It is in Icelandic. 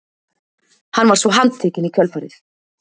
Hann var svo handtekinn í kjölfarið